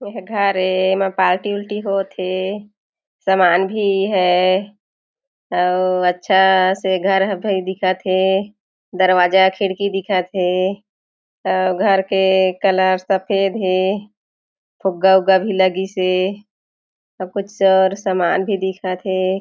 ए ह घर ए ये में पार्टी ऊरटी होत हे समान भी है अउ अच्छा से घर ह भी दिखत हे दरवाजा खिड़की दिखत हे अउ घर के कलर सफ़ेद हे फुग्गा ऊगा भी लगिस हे कुछ और सामान भी दिखत हे।